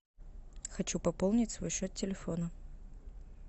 хочу пополнить свой счет телефона